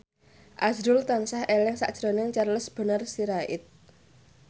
azrul tansah eling sakjroning Charles Bonar Sirait